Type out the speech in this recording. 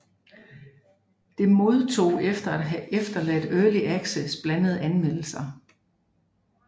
Det modtod efter at have forladt Early Access blandede anmeldelser